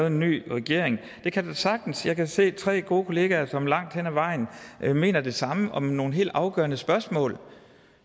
en ny regering at det kan der sagtens jeg kan se tre gode kollegaer som langt hen ad vejen mener det samme om nogle helt afgørende spørgsmål